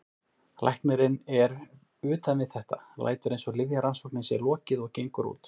Læknirinn er utan við þetta, lætur eins og lyfjarannsókninni sé lokið og gengur út.